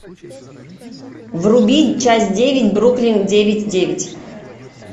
вруби часть девять бруклин девять девять